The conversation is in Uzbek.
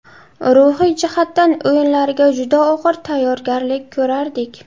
Ruhiy jihatdan o‘yinlarga juda og‘ir tayyorgarlik ko‘rardik.